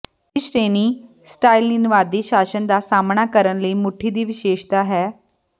ਤੀਜੀ ਸ਼੍ਰੇਣੀ ਸਟਾਲਿਨਵਾਦੀ ਸ਼ਾਸਨ ਦਾ ਸਾਹਮਣਾ ਕਰਨ ਲਈ ਮੁੱਠੀ ਦੀ ਵਿਸ਼ੇਸ਼ਤਾ ਹੈ